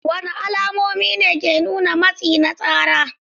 Wadanne alamomi ne ke nuna matsi na tsara?